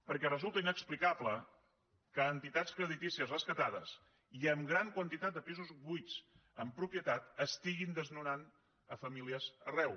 perquè resulta inexplicable que entitats creditícies rescatades i amb gran quantitat de pisos buits en propietat estiguin desnonant famílies arreu